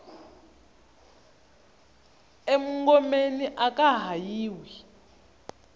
e mungomeni aka ha yiwi